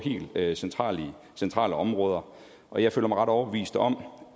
helt centrale centrale områder og jeg føler mig ret overbevist om